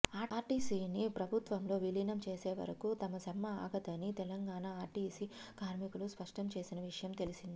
ఆర్టీసీని ప్రభుత్వంలో విలీనం చేసేవరకు తమ సమ్మె ఆగదని తెలంగాణ ఆర్టీసీ కార్మికులు స్పష్టంచేసిన విషయం తెలిసిందే